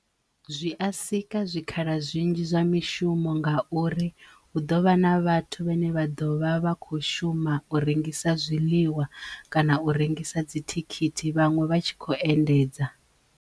Zwi a sika zwikhala zwinzhi zwa mishumo nga uri hu ḓovha na vhathu vhane vha ḓovha vha kho shuma u rengisa zwiḽiwa kana u rengisa dzithikhithi vhaṅwe vha tshi kho endedza.